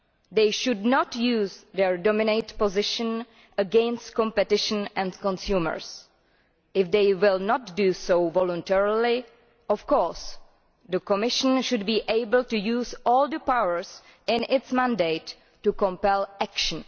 They should not use their dominant position against competition and consumers. If they will not do so voluntarily, of course the Commission should be able to use all the powers in its mandate to compel action.